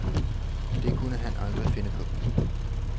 Det kunne han aldrig finde på.